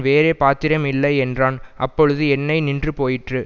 வேறே பாத்திரம் இல்லை என்றான் அப்பொழுது எண்ணெய் நின்றுபோயிற்று